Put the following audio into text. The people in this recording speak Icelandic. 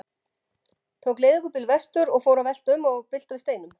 Tók leigubíl vestur og fór að velta um og bylta við steinum.